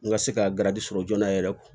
N ka se ka garidi sɔrɔ joona yɛrɛ